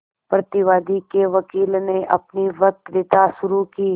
प्रतिवादी के वकील ने अपनी वक्तृता शुरु की